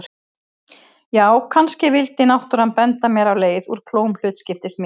Já, kannski vildi náttúran benda mér á leið úr klóm hlutskiptis míns.